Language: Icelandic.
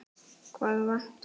Hvað vantar?